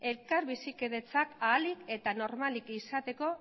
elkar bizikidetzak ahalik eta normalik izateko